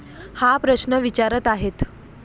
हा प्रश्न विचारत आहेत.